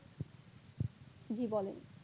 জি বলেন